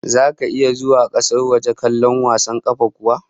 Zaka iya zuwa kasar waje kallon wasan kwallon kafa kuwa?